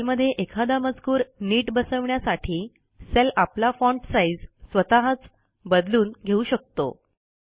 सेलमध्ये एखादा मजकूर नीट बसवण्यासाठी सेल आपला फाँट साईज स्वतःच बदलून घेऊ शकतो